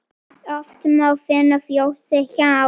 Oft má finna fjósi hjá.